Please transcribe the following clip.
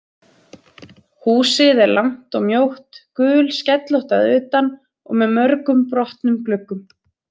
Húsið er langt og mjótt, gulskellótt að utan og með mörgum brotnum gluggum.